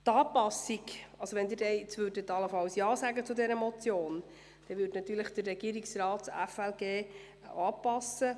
Falls Sie die Motion unterstützten, würde der Regierungsrat das FLG anpassen.